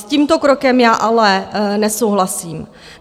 S tímto krokem já ale nesouhlasím.